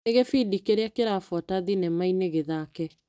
Nĩ gĩbindi kĩrĩa kĩrabuata thinema-inĩ gĩthake.